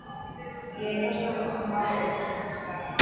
Ég er prestsdóttirin sem lá í bókum flesta daga.